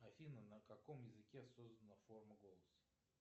афина на каком языке создана форма голоса